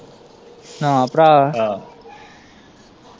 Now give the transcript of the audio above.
ਨਾ ਭਰਾ।